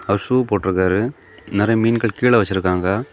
அவர் shoe போட்டுருக்காரு நெறைய மீன்கள் கீழ வச்சுருக்காங்க.